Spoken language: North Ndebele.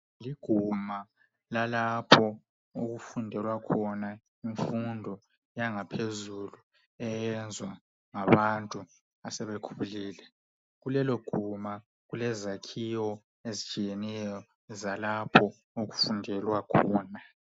Liguma lalapho okufundelwa khona imfundo yangaphezulu eyenzwa ngabantu asebekhulile. Kuleloguma kulezakhiwo ezitshiyeneyo zalapho okufundelwa khona